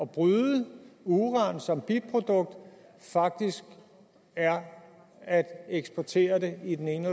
bryde uran som biprodukt faktisk er at eksportere det i den ene